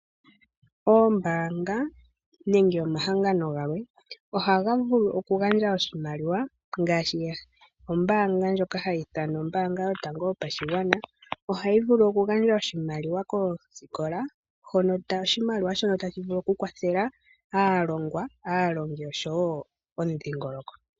Oombanga nenge omahangano gamwe ohaga vulu okugandja oshimaliwa, ngaashi ombaanga ndjoka hayi ithanwa ombaanga yotango yopashigwana, ohayi vulu okugandja oshimaliwa koosikola shono tashi vulu okukwathela aalongwa, aalongi oshowo omudhingoloko.